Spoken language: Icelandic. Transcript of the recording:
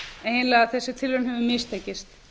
eiginlega þessi tilraun hefur mistekist